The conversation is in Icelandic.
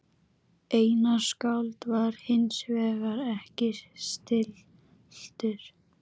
Einar skáld var hinsvegar ekki stilltur